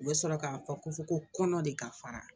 U bɛ sɔrɔ k'a fɔ ko fɔ ko kɔnɔ de ka fara